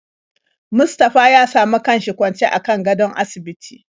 Mustapha ya samu kanshi kwancw akan gadon asibiti.